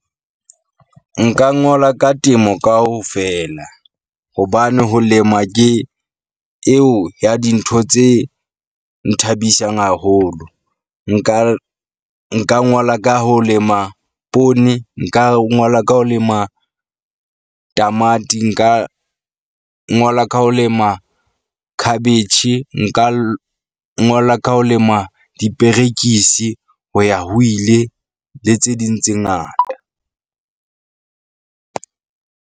Nka ngola ka temo kaofela hobane ho lema ke eo ya dintho tse nthabisang haholo. Nka nka ngola ka ho lema poone. Nka ngola ka ho lema tamati. Nka ngola ka ho lema khabetjhe. Nka ngola ka ho lema diperekisi ho ya ho ile le tse ding tse ngata.